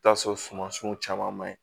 I bi taa sɔrɔ sumasiw caman man ɲi